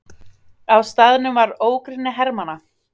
Á staðnum var ógrynni hermanna.